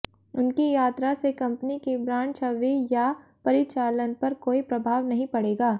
उनकी यात्रा से कंपनी की ब्रांड छवि या परिचालन पर कोई प्रभाव नहीं पड़ेगा